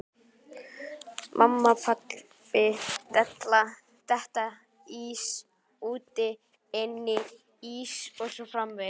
Mamma, pabbi, detta, bíll, úti, inni, ís og svo framvegis